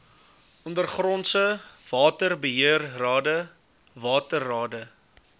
ondergrondse waterbeheerrade waterrade